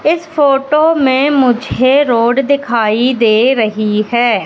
इस फोटो में मुझे रोड दिखाई दे रही हैं।